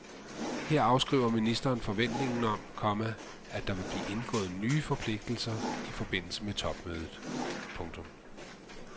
Her afskriver ministeren forventningen om, komma at der vil blive indgået nye forpligtelser i forbindelse med topmødet. punktum